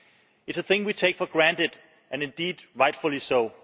It is a thing we take for granted, and indeed rightfully so.